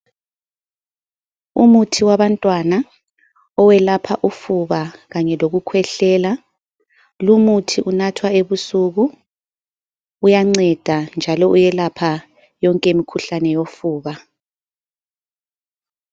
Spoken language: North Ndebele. Umuthi wabantwana owelapha ufuba kanye lokukhwehlela, lumuthi unathwa ebusuku, uyanceda njalo uyelapha yonke imikhuhlane yofuba.